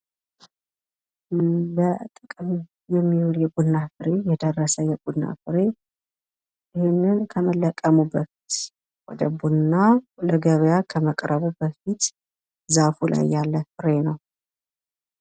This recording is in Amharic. በጥቅም የሚውል የቡና ፍሬ የደረሰ የቡና ፍሬ ይህንን ከመለቀሙ በፊት ወደ ቡና ለገበያ ከመቅረቡ በፊት ዛፉ ላይ ያለ ፍሬ ነው።